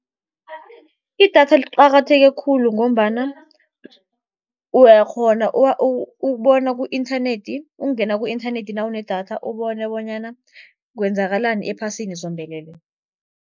Idatha liqakatheke khulu, ngombana uyakghona ukubona ku-inthanethi, ukungena ku-inthanethi nawunedatha ubone bonyana kwenzakalani ephasini zombelele.